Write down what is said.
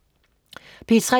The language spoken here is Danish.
P3: